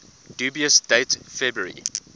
dubious date february